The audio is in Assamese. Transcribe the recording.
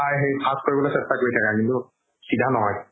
চেষ্টা কৰি থাকা কিন্তু চিধা নহয়